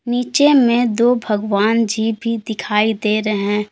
नीचे में दो भगवान जी भी दिखाई दे रहे हैं।